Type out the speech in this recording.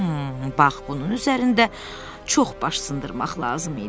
Bax bunun üzərində çox baş sındırmaq lazım idi.